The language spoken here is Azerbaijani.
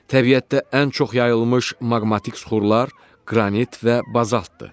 Təbiətdə ən çox yayılmış maqmatik suxurlar qranit və bazaltdır.